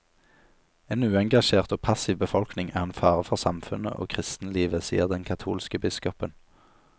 En uengasjert og passiv befolkning er en fare for samfunnet og kristenlivet, sier den katolske biskopen.